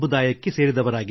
ಇದೊಂದು ಬುಡಕಟ್ಟು ಸಮುದಾಯವಾಗಿದೆ